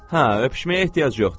Hə, öpüşməyə ehtiyac yoxdur.